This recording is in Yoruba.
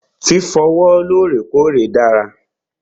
Fífọ ọwọ́ lọ́rèkọ́ọ̀rè dára.